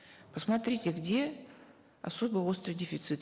посмотрите где особо острый дефицит